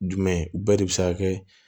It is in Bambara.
Jumɛn bɛɛ de bɛ se ka kɛ